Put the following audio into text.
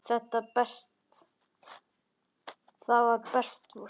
Þetta var best svona.